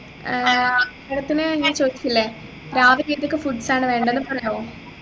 ഏർ madam ത്തിനു ഞാൻ ചോയിച്ചില്ലേ രാവിലെ ഏതൊക്കെ foods ആണ് വേണ്ടന്നു പറയോ